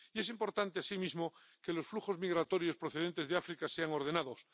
Y es importante, asimismo, que los flujos migratorios procedentes de África sean ordenados.